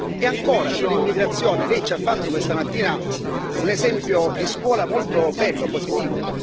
E ancora sull'immigrazione, Lei ci ha fatto questa mattina un esempio di scuola molto bello, positivo.